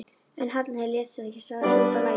En Halli lét ekki slá sig út af laginu.